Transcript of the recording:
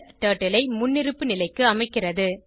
turtle ஐ முன்னிருப்பு நிலைக்கு அமைக்கிறது